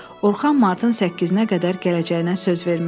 Orxan martın səkkizinə qədər gələcəyinə söz vermişdi.